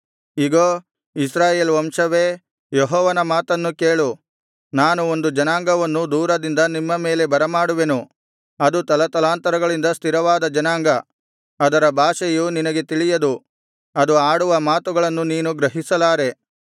ಇಗೋ ಇಸ್ರಾಯೇಲ್ ವಂಶವೇ ಯೆಹೋವನ ಮಾತನ್ನು ಕೇಳು ನಾನು ಒಂದು ಜನಾಂಗವನ್ನು ದೂರದಿಂದ ನಿಮ್ಮ ಮೇಲೆ ಬರಮಾಡುವೆನು ಅದು ತಲತಲಾಂತರಗಳಿಂದ ಸ್ಥಿರವಾದ ಜನಾಂಗ ಅದರ ಭಾಷೆಯು ನಿನಗೆ ತಿಳಿಯದು ಅದು ಆಡುವ ಮಾತುಗಳನ್ನು ನೀನು ಗ್ರಹಿಸಲಾರೆ